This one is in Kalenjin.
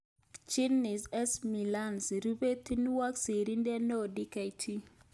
Gaudence S. Milianzi. Rupeihwot sirindeet neoo-Dkt